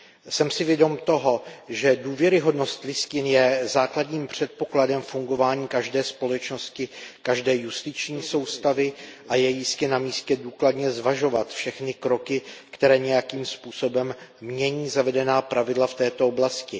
Jsem si vědom toho, že důvěryhodnost listin je základním předpokladem fungování každé společnosti, každé justiční soustavy, a je jistě na místě důkladně zvažovat všechny kroky, které nějakým způsobem mění zavedená pravidla v této oblasti.